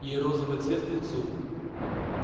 ей розовый цвет к лицу